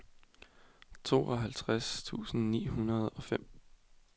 tooghalvtreds tusind ni hundrede og fem